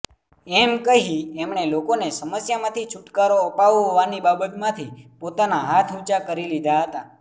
એમ કહી એમણે લોકોને સમસ્યામાંથી છુટકારો અપાવવાની બાબતમાંથી પોતાના હાથ ઊંચા કરી લીધા હતા